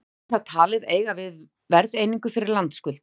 þar er það talið eiga við verðeiningu fyrir landskuld